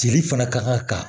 Cili fana ka kan ka ka